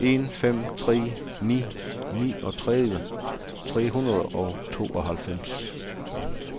en fem tre ni niogtredive tre hundrede og tooghalvfems